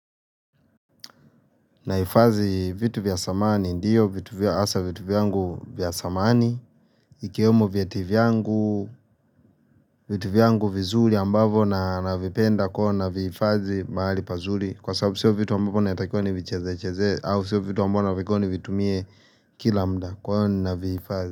Naifadhi vitu vya zamani ndiyo vitu vya asa vitu vyangu vya zamani ikiwemo viti vyangu vitu vyangu vizuri ambavo naa navipenda kwa na viifadhi mahali pazuli Kwa sababu siyo vitu ambapo naetakio vichezeze au siyo vitu ambao naetakio nivitumie kila mda kwa na viifadhi.